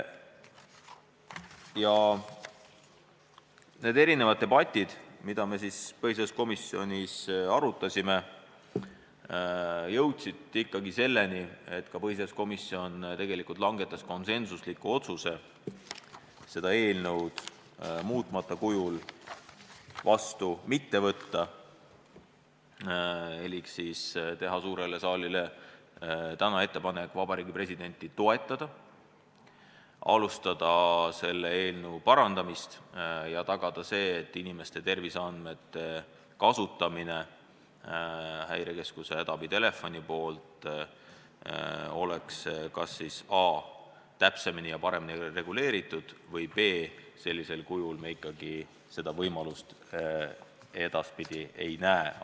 Ja eri küsimusi arutades me jõudsime põhiseaduskomisjonis ikkagi konsensusliku otsuseni seda seadust muutmata kujul vastu mitte võtta elik siis teha suurele saalile täna ettepanek Vabariigi Presidendi seisukohta toetada, alustada seaduse parandamist ja tagada see, et inimeste terviseandmete kasutamine Häirekeskuse hädaabitelefoni poolt oleks kas a) täpsemini ja paremini reguleeritud või b) sellisel kujul seda võimalust ikkagi ei tule.